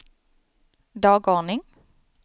dagordning